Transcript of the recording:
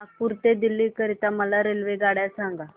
नागपुर ते दिल्ली करीता मला रेल्वेगाड्या सांगा